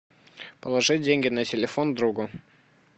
положи деньги на телефон другу